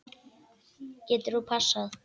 Getur þú passað?